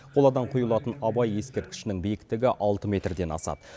қоладан құйылатын абай ескерткішінің биіктігі алты метрден асады